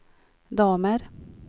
damer